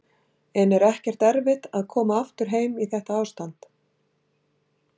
En er ekkert erfitt að koma aftur heim í þetta ástand?